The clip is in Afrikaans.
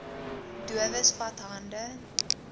dowes vat hande